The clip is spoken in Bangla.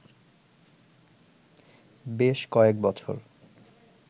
বেশ কয়েক বছর